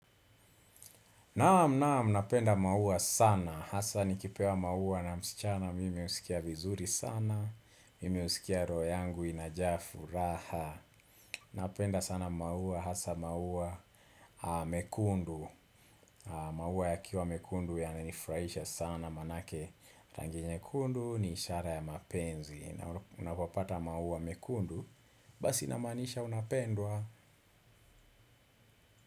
Naam naam napenda maua sana, hasa nikipewa maua na msichana mimi husikia vizuri sana, mimi husikia roho yangu inajaa furaha. Napenda sana maua, hasa maua mekundu maua yakiwa mekundu yamenifurahisha sana maanake. Rangi nyekundu ni ishara ya mapenzi na unapopata maua mekundu, basi inamaanisha unapendwa.